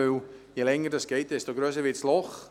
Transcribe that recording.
Denn je länger es dauert, desto grösser wird das Loch.